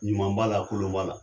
Ɲuman b'ala kolon b'ala